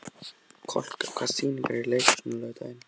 Kolka, hvaða sýningar eru í leikhúsinu á laugardaginn?